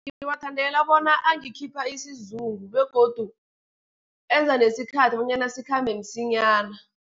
Ngiwathandela bona angakhipha isizungu, begodu enza nesikhathi bonyana sikhambe msinyana.